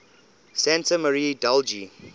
santa maria degli